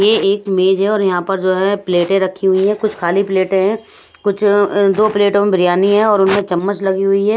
यह एक मेज है और यहां पर जो है प्लेटें रखी हुई है कुछ खाली प्लेटें हैं कुछ दो प्लेटों में बिरयानी है और उनमें चम्मच लगी हुई है।